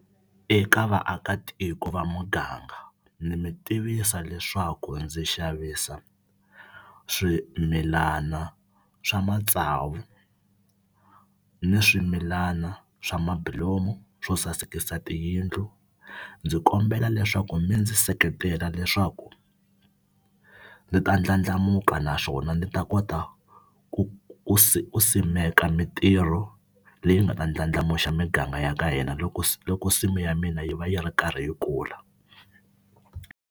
Eka vaakatiko va muganga ni mi tivisa leswaku ndzi xavisa swimilana swa matsavu ni swimilana swa mabulomu swo sasekisa tiyindlu. Ndzi kombela leswaku mi ndzi seketela leswaku ni ta ndlandlamuka naswona ni ta kota ku ku si ku simeka mitirho leyi nga ta ndlandlamuxa miganga ya ka hina loko se loko nsimu ya mina yi va yi ri karhi yi kula.